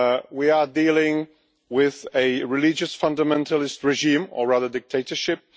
We are dealing with a religious fundamentalist regime, or rather a dictatorship.